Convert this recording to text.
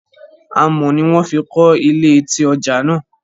Amọ̀ ni wón fi kọ́ ilé etí ọjà náà